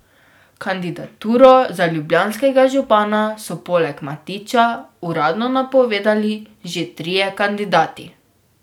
Kandidaturo za ljubljanskega župana so poleg Matića uradno napovedali že trije kandidati.